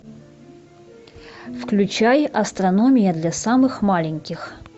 включай астрономия для самых маленьких